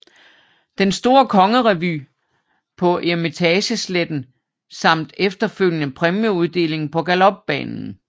Den store kongerevy på Eremitagesletten samt efterfølgende præmieuddeling på Galopbanen